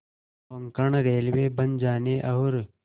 Konkan railway बन जाने और